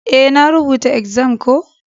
Eh, na rubuta exams ko.